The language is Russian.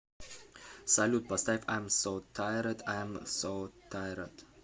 салют поставь айм соу тайред айм соу тайред